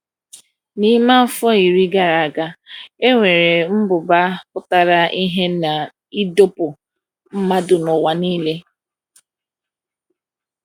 N’ime afọ iri gara aga, e nwere mmụba pụtara ìhè n’ịdọkpụ mmadụ n’ụwa niile.